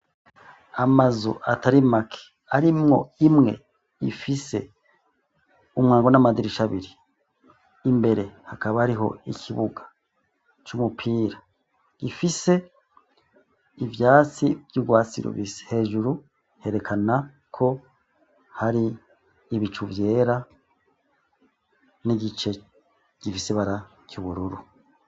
Amazu atari make arimwo imwe ifise umwango n'amadirisha abiri, imbere hakaba hariho ikibuga c'umupira gifise ivyatsi vy'urwasi rubisi, hejuru herekana ko hari ibicu vyera n'igice gifise ibara ry'ubururu.